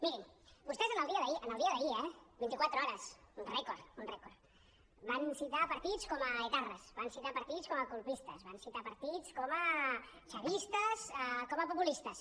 mirin vostès en el dia d’ahir en el dia d’ahir eh vint i quatre hores un rècord un rècord van citar partits com a etarres van citar partits com a colpistes van citar partits com a chavistes com a populistes